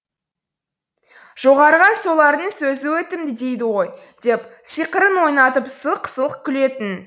жоғарыға солардың сөзі өтімді дейді ғой деп сиқырын ойнатып сылқ сылқ күлетін